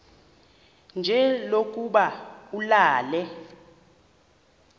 nje lokuba ulale